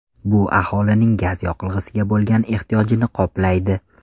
Bu aholining gaz yoqilg‘isiga bo‘lgan ehtiyojini qoplaydi.